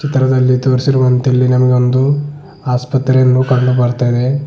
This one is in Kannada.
ಚಿತ್ರದಲ್ಲಿ ತೋರಿಸಿರುವಂತೆ ಇಲ್ಲಿ ನಮಗೊಂದು ಆಸ್ಪತ್ರೆಯನ್ನು ಕಂಡುಬರ್ತಾಯಿದೆ.